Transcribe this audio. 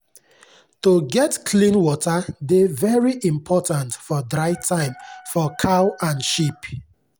to get clean water dey very important for dry time for cow and sheep.